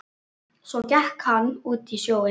Svo gekk hann út í sjóinn.